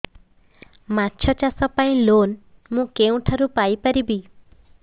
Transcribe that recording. ମାଛ ଚାଷ ପାଇଁ ଲୋନ୍ ମୁଁ କେଉଁଠାରୁ ପାଇପାରିବି